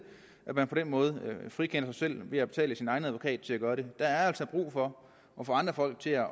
at man på den måde frikender sig selv ved at betale sin egen advokat til at gøre det der er altså brug for at få andre folk til at